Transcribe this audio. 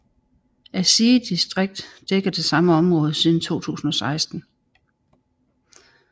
Asige distrikt dækker det samme område siden 2016